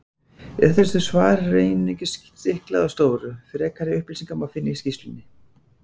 Í þessu svari er einungis stiklað á stóru, frekari upplýsingar má finna í skýrslunni.